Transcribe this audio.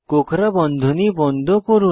কোঁকড়া বন্ধনী বন্ধ করুন